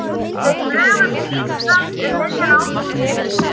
Þau flugu til Íslands um miðjan ágúst.